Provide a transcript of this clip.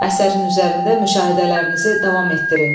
Əsərin üzərində müşahidələrinizi davam etdirin.